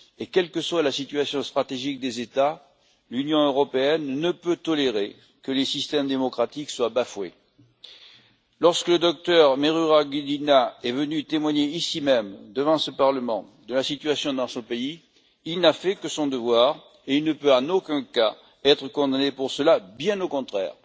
Quelle que soit la situation stratégique des États, l'Union européenne ne peut tolérer que les systèmes démocratiques soient bafoués. Lorsque le docteur Merera Gudina est venu témoigner ici même, devant ce Parlement, de la situation dans son pays, il n'a fait que son devoir et ne peut en aucun cas être condamné pour cela, bien au contraire.